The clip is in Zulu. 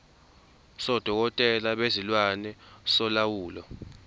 sodokotela bezilwane solawulo